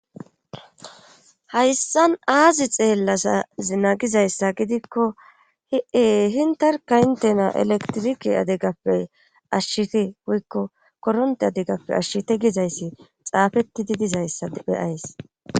Hayssan aazi xeellasazinagizayssa gidikko hiee hintarka intena elektirike adegappey ashshiti wuykko koronte adegappe ashshiti gizayssi xaafetti di dizayssa beyays.